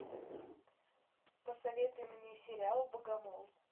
посоветуй мне сериал богомол